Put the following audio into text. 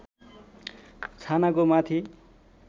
छानाको माथि